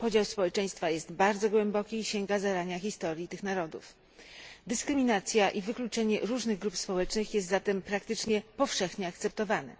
Podział społeczeństwa jest bardzo głęboki i sięga zarania historii tych narodów. Dyskryminacja i wykluczenie różnych grup społecznych jest zatem praktycznie powszechnie akceptowane.